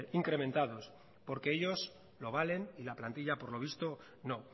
incrementados porque ellos lo valen y la plantilla por lo visto no